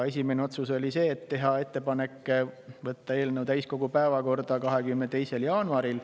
Esimene otsus oli ettepanek võtta eelnõu täiskogu päevakorda 22. jaanuariks.